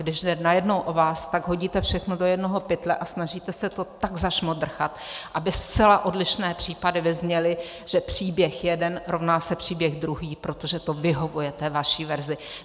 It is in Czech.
Když jde najednou o vás, tak hodíte všechno do jednoho pytle a snažíte se to tak zašmodrchat, aby zcela odlišné případy vyzněly, že příběh jeden rovná se příběh druhý, protože to vyhovuje té vaší verzi.